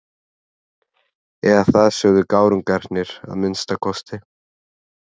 Eða það sögðu gárungarnir að minnsta kosti.